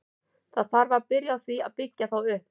Það þarf strax að byrja á því að byggja þá upp.